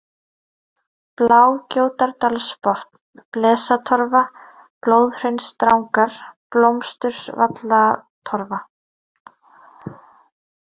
Blágjótardalsbotn, Blesatorfa, Blóðhraunsdrangar, Blómsturvallatorfa